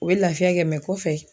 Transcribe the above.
O ye lafiya kɛ mɛ kɔfɛ